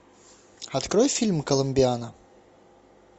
открой фильм коломбиана